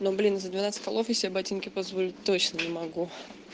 ну блин за двенадцать колов я себе ботинки позволит точно не могу